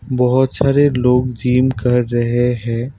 बहुत सारे लोग जिम कर रहे हैं।